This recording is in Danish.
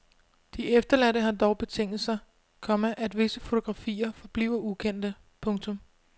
De efterladte har dog betinget sig, komma at visse fotografier forbliver ukendte. punktum